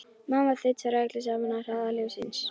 Mamma þaut frá öllu saman á hraða ljóssins.